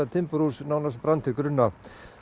timburhús nánast brann til grunna